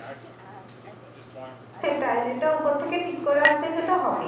সেটাই যেটা উপর থেকে ঠিক করা আছে সেটা হবেই